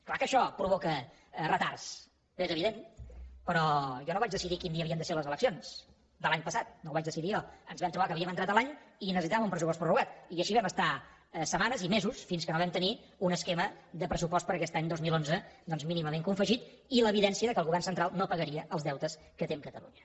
clar que això provoca retards és evident però jo no vaig decidir quin dia havien de ser les eleccions de l’any passat no ho vaig decidir jo ens vam trobar que havíem entrat a l’any i necessitàvem un pressupost prorrogat i així vam estar setmanes i mesos fins que no vam tenir un esquema de pressupost per a aquest any dos mil onze doncs mínimament confegit i l’evidència que el govern central no pagaria els deutes que té amb catalunya